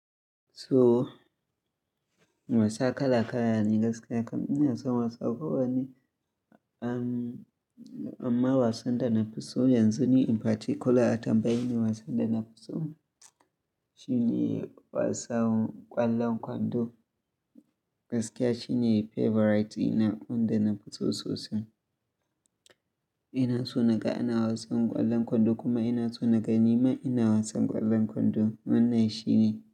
So wasa kala-kala ne gaskiya. Kam ina son wasa, kowa ne. Am amma wasan da na fi so yanzu ne in particular a tambayi ni wasan da na fi so, shi ne wasan ƙwallon kwando. Gaskiya shi ne favorite ina wanda na fi so sosai. Ina so na ga ana wasan ƙwallon kwando kuma ina so na ga nima ina wasan ƙwallon kwando. Wannan shi ne.